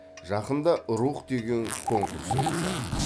жақында рух деген конкурс өтті